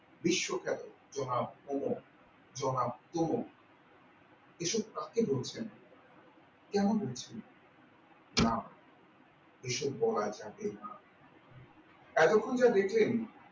বিশ্বখ্যাত জনাব ভৌম জনাব তম এসব কাকে ধরছেন কেন ধরছেন না এইসব বলা যাবেনা এতক্ষন যা দেখলেন